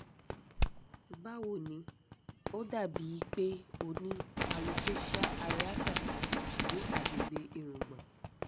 bawo nì ó dà bíi pé o ní alopecia areata ní àgbègbè ìrungbon